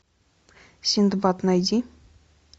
синдбад найди